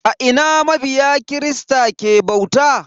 A ina mabiya kirista ke bauta?